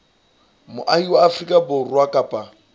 moahi wa afrika borwa kapa